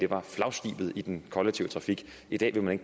var flagskibet i den kollektive trafik i dag vil man